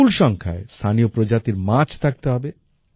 বিপুল সংখ্যায় স্থানীয় প্রজাতির মাছ থাকতে হবে